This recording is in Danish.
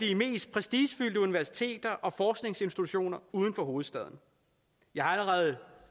de mest prestigefyldte universiteter og forskningsinstitutioner uden for hovedstaden jeg har allerede